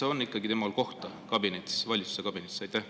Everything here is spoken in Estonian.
–, on ikkagi kohta valitsuskabinetis?